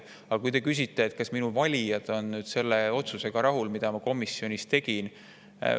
Aga te küsite, kas minu valijad on selle otsusega rahul, mis ma komisjonis tegin.